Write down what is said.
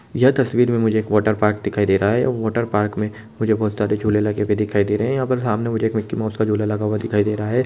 यह तस्वीर में मुझे वाटरपार्क दिखाई दे रहा हैवाटर पार्क में बोहत सारे झोले लगे हुए ये दिखाई दे रहे है यहाँ पर मुझे सामने मिकी माऊस का झोला लगा हुआ दिखाई दे रहा है।